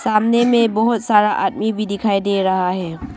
सामने में बहुत सारा आदमी भी दिखाई दे रहा है।